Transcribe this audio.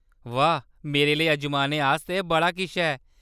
वाह्, मेरे लेई अजमाने आस्तै बड़ा किश ऐ।